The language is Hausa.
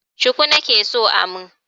Shuku nake so a mun.